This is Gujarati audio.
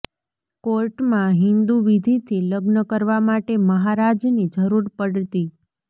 કોર્ટમાં હિન્દુ વિધીથી લગ્ન કરવા માટે મહારાજની જરૂર પડતી